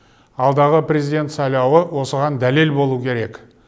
алдағы президент сайлауы осыған дәлел болуы керек